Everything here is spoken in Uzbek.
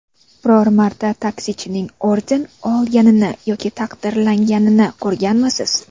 Biror marta taksichining orden olganini yoki taqdirlanganini ko‘rganmisiz?